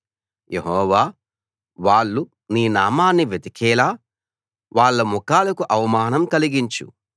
యెహోవా వాళ్ళు నీ నామాన్ని వెతికేలా వాళ్ల ముఖాలకు అవమానం కలిగించు